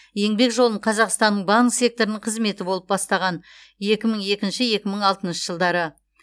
еңбек жолын қазақстанның банк секторының қызметі болып бастаған екі мың екінші екі мың алтыншы жылдары